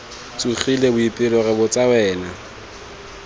tsogile boipelo re botsa wena